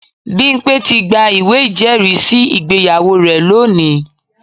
Bimpe ti gba ìwé ìjẹ́rìísí ìgbéyàwó rẹ̀ lónìí